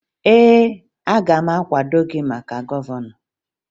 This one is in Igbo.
Ee, aga m akwado gị maka gọvanọ